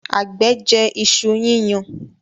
àgbẹ̀ jẹ iṣu yíyan.